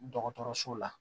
Dɔgɔtɔrɔso la